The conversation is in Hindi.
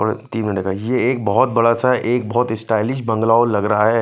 और तिन बनेगा यह एक बहोत बड़ा सा एक बहोत स्टाइलिश बंगला लग रहा है।